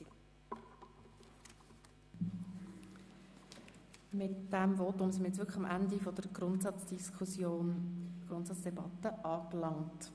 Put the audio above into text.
Mit diesem Votum sind wir am Ende der Grundsatzdebatte angelangt.